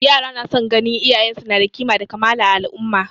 Yara na son ganin iyayen su na da kima da kamala a al'umma